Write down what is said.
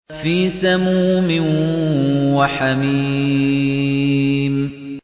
فِي سَمُومٍ وَحَمِيمٍ